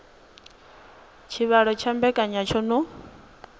tshivhalo tsha mbekanya tsho no